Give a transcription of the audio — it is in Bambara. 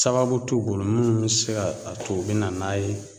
Sababu t'u bolo minnu be se ka a to u bi na n'a ye